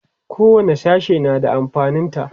kowani sashe na da amfanin ta